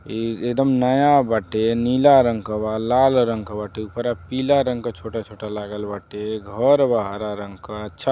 ए एदम नया बाटे। नीला रंग क बा लाल रंग क बाटे ऊपरा पीला रंग क छोटा-छोटा लागल बाटे। घर बा हरा रंग क छ --